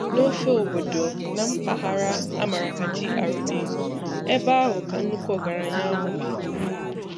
N'ofe obodo, na mpaghara a mara ka GRA, ebe ahụ ka nnukwu ọgaranya ahụ bi.